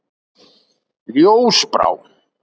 Ljósbrá